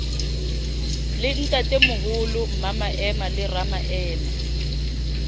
le ntatemoholo mmamaema le ramaema